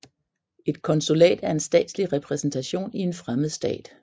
Et konsulat er en statslig repræsentation i en fremmed stat